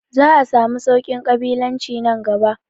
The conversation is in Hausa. Za a samu sauƙin ƙabilanci nan gaba